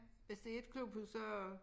Hvis det et klubhus så